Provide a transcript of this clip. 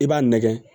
I b'a nɛgɛn